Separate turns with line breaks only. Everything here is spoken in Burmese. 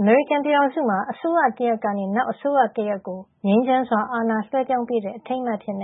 အမေရိကန်ပြည်ထောင်စုမှာ အစိုးရတရပ်ကနေ နောက်အစိုးရတရပ်ကို ငြိမ်းချမ်းစွာအာဏာလွှဲပြောင်းပေးတဲ့ အထိမ်းအမှတ်အဖြစ်